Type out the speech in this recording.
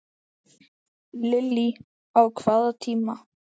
Lillý: Á hvaða tíma?